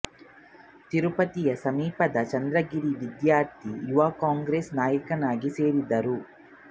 ತಿರುಪತಿಯ ಸಮೀಪದ ಚಂದ್ರಗಿರಿಯ ವಿದ್ಯಾರ್ಥಿ ಯುವ ಕಾಂಗ್ರೆಸ್ ನಾಯಕನಾಗಿ ಸೇರಿದರು